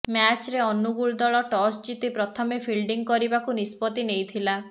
ମ୍ୟାଚରେ ଅନୁଗୁଳ ଦଳ ଟସ ଜିତି ପ୍ରଥମେ ଫିଲ୍ଡିଂ କରିବାକୁ ନିଷ୍ପତ୍ତି ନେଇଥିଲା